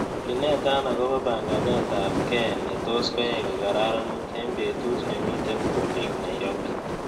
Iinetan agoboo panganetab ke ne tos' koyai kogararanit eng' betut nemiten boolik nairobi